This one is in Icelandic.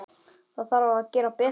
Það þarf að gera betur.